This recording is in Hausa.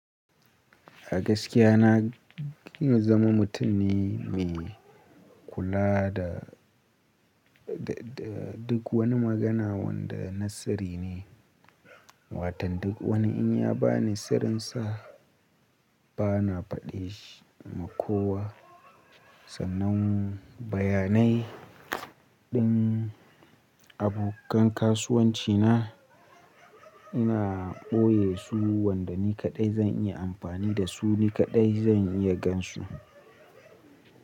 A gaskiya na ƙin zama mutum ne mai kula da duk wani magana wanda na sirri ne. Watan duk wani in ya bani sirrin sa bana faɗe shi ma kowa. Sannan bayanai din abokan kasuwanci na ina ɓoye su, wanda ni kaɗai zan iya amfani da su, ni kaɗai zan iya gan su.